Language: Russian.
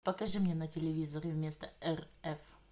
покажи мне на телевизоре вместо рф